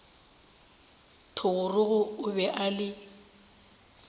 thogorogo o be a le